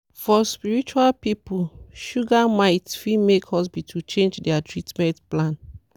for spiritual people sugar myth fit make hospital change their treatment plan.